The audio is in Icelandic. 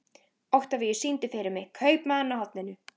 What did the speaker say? Oktavíus, syngdu fyrir mig „Kaupmaðurinn á horninu“.